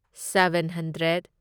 seven hundred